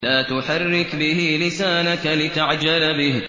لَا تُحَرِّكْ بِهِ لِسَانَكَ لِتَعْجَلَ بِهِ